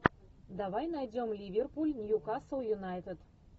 давай найдем ливерпуль ньюкасл юнайтед